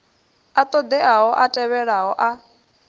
a ṱoḓeaho a tevhelaho a